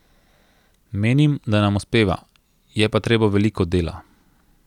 Menim, da nam uspeva, je pa treba veliko dela.